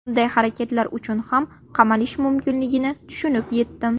Bunday harakatlar uchun ham qamalish mumkinligini tushunib yetdim.